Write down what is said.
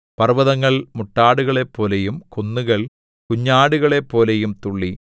പർവ്വതങ്ങൾ മുട്ടാടുകളെപ്പോലെയും കുന്നുകൾ കുഞ്ഞാടുകളെപ്പോലെയും തുള്ളി